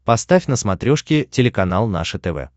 поставь на смотрешке телеканал наше тв